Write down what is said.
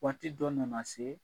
Waati dɔ nana se.